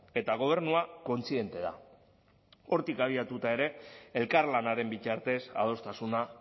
eta gobernua kontziente da hortik abiatuta ere elkarlanaren bitartez adostasuna